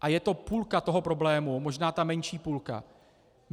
A je to půlka toho problému, možná ta menší půlka.